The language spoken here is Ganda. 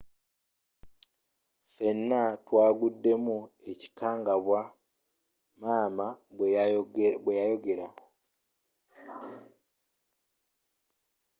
ffena twaguddemu ekikangabwa,” maama bweyayogera